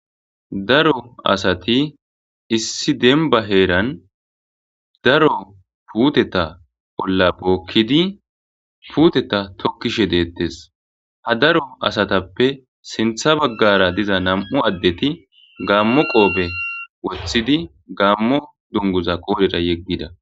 Daro asati issi demba heeran daro puuteta olla bookidi puuteta tokiishe de'etees ha daro asatappe sinththa bagaara diza nam'u addeti gaamo qoobe woththidi gaamo dunguza qoodhera yegiida.